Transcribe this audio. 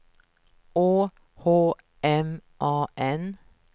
Å H M A N